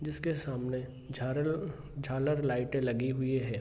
जिसके सामने झालर-झालर लाइटे लगी हुई हैं।